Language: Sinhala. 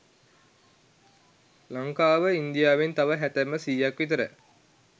ලංකාව ඉන්දියාවෙන් තව හැතැප්ම සීයක් විතර